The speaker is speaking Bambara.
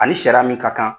Ani sariya min ka kan